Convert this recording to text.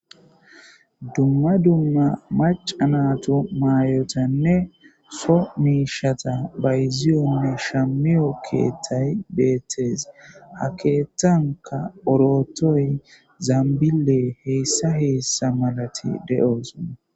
Dumma dumma macanatu maayotanne so miishata bayziyonne shamiyo keettay beettes ha keettanka orotoy zambile heessa heessa malati de'osa.